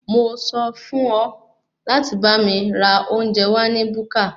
Mo sọ fún ọ láti bá mi ra oúnjẹ wá ní búkà.